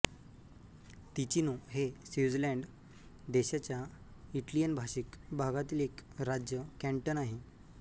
Ticino हे Switzerland देशाच्या इटलियनभाषिक भागातील एक राज्य कॅंटन आहे